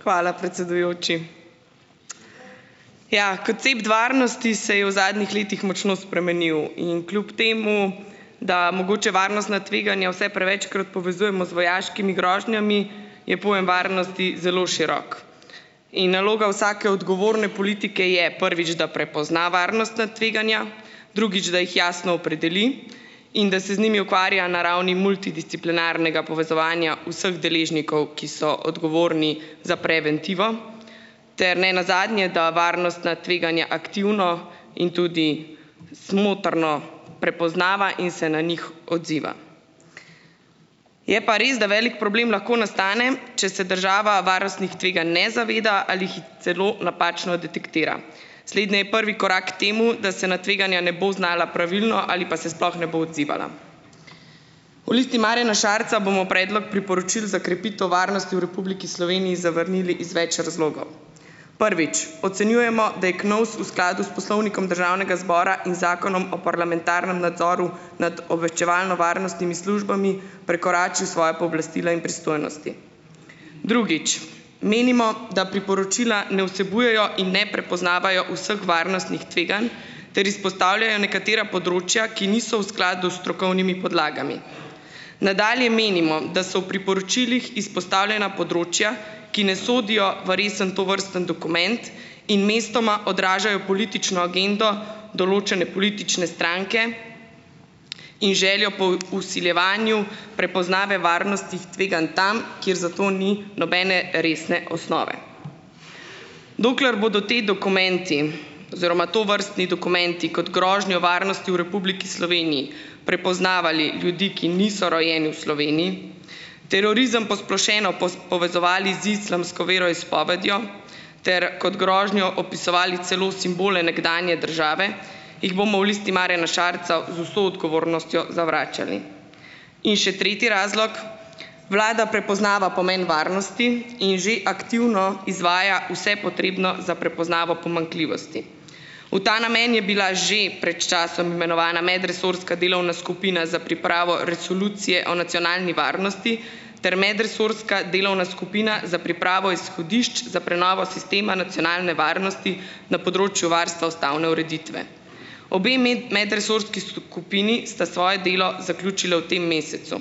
Hvala, predsedujoči. Ja, koncept varnosti se je v zadnjih letih močno spremenil in kljub temu, da mogoče varnostna tveganja vse prevečkrat povezujemo z vojaškimi grožnjami, je pojem varnosti zelo širok in naloga vsake odgovorne politike je, prvič, da prepozna varnostna tveganja, drugič, da jih jasno opredeli, in da se z njimi ukvarja na ravni multidisciplinarnega povezovanja vseh deležnikov, ki so odgovorni za preventivo. Ter ne nazadnje, da varnostna tveganja aktivno in tudi smotrno prepoznava in se na njih odziva. Je pa res, da velik problem lahko nastane, če se država varnostnih tveganj ne zaveda ali jih celo napačno detektira. Slednje je prvi korak temu, da se na tveganja ne bo znala pravilno ali pa se sploh ne bo odzivala. V Listi Marjana Šarca bomo predlog priporočil za krepitev varnosti v Republiki Sloveniji zavrnili iz več razlogov. Prvič. Ocenjujemo, da je KNOVS v skladu s Poslovnikom Državnega zbora in Zakonom o parlamentarnem nadzoru nad obveščevalno-varnostnimi službami prekoračil svoja pooblastila in pristojnosti. Drugič. Menimo, da priporočila ne vsebujejo in ne prepoznavajo vseh varnostnih tveganj ter izpostavljajo nekatera področja, ki niso v skladu s strokovnimi podlagami. Nadalje menimo, da so v priporočilih izpostavljena področja, ki ne sodijo v resen tovrstni dokument in mestoma odražajo politično agendo določene politične stranke in željo po vsiljevanju prepoznave varnostih tveganj tam, kjer za to ni nobene resne osnove. Dokler bodo ti dokumenti oziroma tovrstni dokumenti kot grožnjo varnosti v Republiki Sloveniji prepoznavali ljudi, ki niso rojeni v Sloveniji, terorizem posplošeno povezovali z islamsko veroizpovedjo ter kot grožnjo opisovali celo simbole nekdanje države, jih bomo v Listi Marjana Šarca z vso odgovornostjo zavračali. In še tretji razlog. Vlada prepoznava pomen varnosti in že aktivno izvaja vse potrebno za prepoznavo pomanjkljivosti. V ta namen je bila že pred časom imenovana medresorska delovna skupina za pripravo resolucije o nacionalni varnosti ter medresorska delovna skupina za pripravo izhodišč za prenovo sistema nacionalne varnosti na področju varstva ustavne ureditve. Obe medresorski skupini sta svoje delo zaključili v tem mesecu.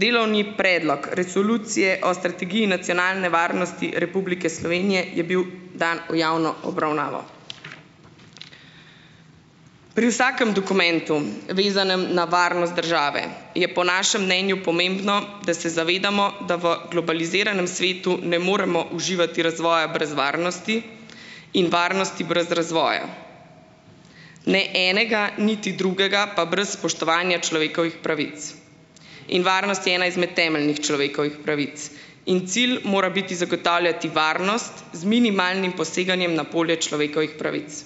Delovni predlog resolucije o strategiji nacionalne varnosti Republike Slovenije je bil dan v javno obravnavo. Pri vsakem dokumentu, vezanem na varnost države, je po našem mnenju pomembno, da se zavedamo, da v globaliziranem svetu ne moremo uživati razvoja brez varnosti in varnosti brez razvoja. Ne enega niti drugega pa brez spoštovanja človekovih pravic. In varnost je ena izmed temeljnih človekovih pravic. In cilj mora biti zagotavljati varnost z minimalnim poseganjem na polje človekovih pravic.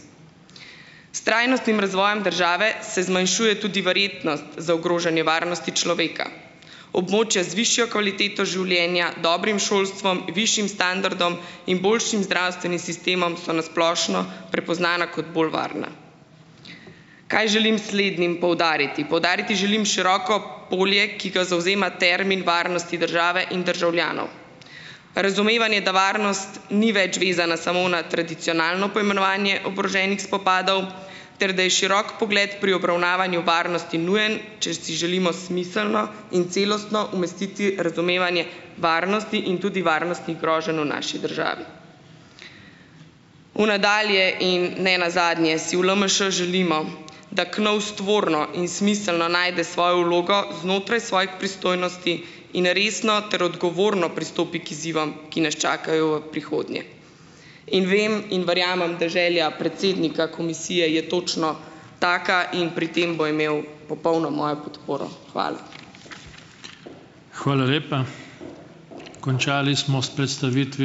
S trajnostnim razvojem države se zmanjšuje tudi verjetnost za ogrožanje varnosti človeka. Območja z višjo kvaliteto življenja, dobrim šolstvom, višjim standardom in boljšim zdravstvenim sistemom so na splošno prepoznana kot bolj varna. Kaj želim s slednjim poudariti? Poudariti želim široko polje, ki ga zavzema termin varnosti države in državljanov. Razumevanje, da varnost ni več vezana samo na tradicionalno poimenovanje oboroženih spopadov ter da je širok pogled pri obravnavanju varnosti nujen, če si želimo smiselno in celostno umestiti razumevanje varnosti in tudi varnostnih groženj v naši državi. V nadalje in ne nazadnje si v LMŠ želimo, da KNOVS tvorno in smiselno najde svojo vlogo znotraj svojih pristojnosti in resno ter odgovorno pristopi k izzivom, ki nas čakajo v prihodnje. In vem in verjamem, da želja predsednika komisije je točno taka in pri tem bo imel popolno mojo podporo. Hvala.